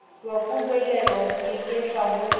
wa kobolelwa ho iketla ho